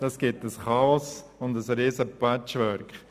Das gäbe ein Chaos und ein riesiges Patchwork.